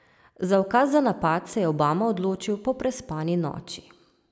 Za ukaz za napad se je Obama odločil po prespani noči.